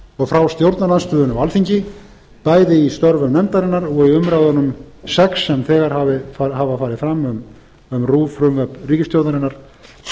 og frá stjórnarandstöðunni á alþingi bæði í störfum nefndarinnar og í umræðunum sex sem þegar hafa farið fram um rúv frumvörp ríkisstjórnarinnar og er